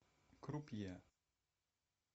крупье